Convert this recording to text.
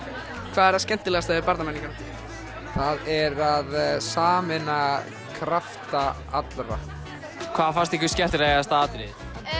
hvað er það skemmtilegasta við Barnamenningarhátíð það er að sameina krafta allra hvað fannst ykkur skemmtilegasta atriðið